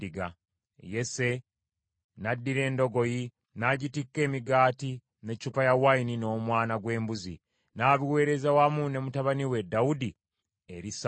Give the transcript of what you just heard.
Yese n’addira endogoyi n’agitikka emigaati, n’eccupa y’envinnyo n’omwana gw’embuzi, n’abiweereza wamu ne mutabani we Dawudi eri Sawulo.